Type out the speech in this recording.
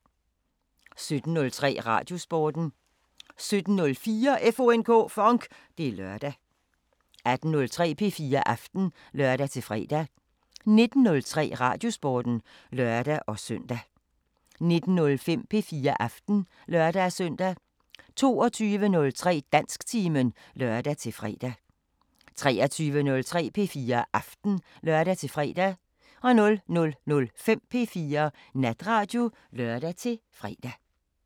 17:03: Radiosporten 17:04: FONK! Det er lørdag 18:03: P4 Aften (lør-fre) 19:03: Radiosporten (lør-søn) 19:05: P4 Aften (lør-søn) 22:03: Dansktimen (lør-fre) 23:03: P4 Aften (lør-fre) 00:05: P4 Natradio (lør-fre)